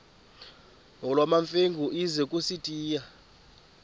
nolwamamfengu ize kusitiya